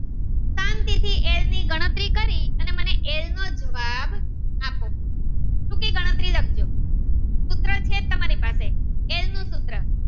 અને મને એલ નો જવાબ આપો ખૂટી ગણતરી લખજો સૂત્ર છે તમારી પાસે એલ નું સૂત્ર